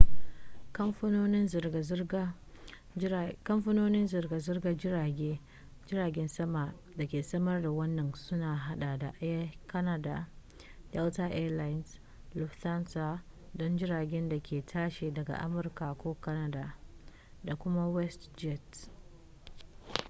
kamfanonin zirga-zirgar jiragen sama da ke samar da wannan sun haɗa da air canada delta air lines lufthansa don jiragen da ke tashi daga amurka ko canada da kuma westjet